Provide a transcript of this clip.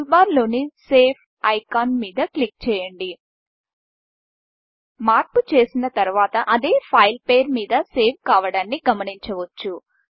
టూల్బార్లోని save icon మీద click చేయండి మార్పు చేసిన తరువాత అదే ఫైల్ పేరు మీద సేవ్ కావడాన్ని గమనించవచ్చు